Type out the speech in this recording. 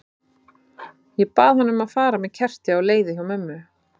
Ég bað hana um að fara með kerti á leiðið hjá mömmu.